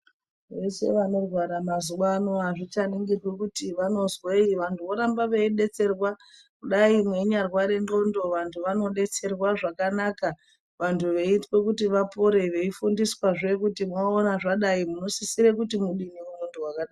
Veshe vanorwara mazuwaano azvichaningirwi kuti vanozwei vanthu vorambe veidetserwa kudai veinyarwara ndxondo vanthu vanodetserwa zvakanaka vanthu veitwe kuti vapore veifundiswazve kuti mwaona zvadai munosisire kuti mudini nemunthu wakadai .